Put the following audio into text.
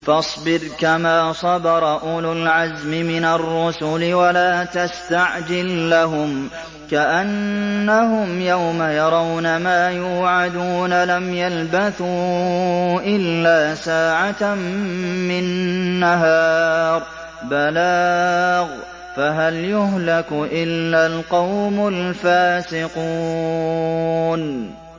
فَاصْبِرْ كَمَا صَبَرَ أُولُو الْعَزْمِ مِنَ الرُّسُلِ وَلَا تَسْتَعْجِل لَّهُمْ ۚ كَأَنَّهُمْ يَوْمَ يَرَوْنَ مَا يُوعَدُونَ لَمْ يَلْبَثُوا إِلَّا سَاعَةً مِّن نَّهَارٍ ۚ بَلَاغٌ ۚ فَهَلْ يُهْلَكُ إِلَّا الْقَوْمُ الْفَاسِقُونَ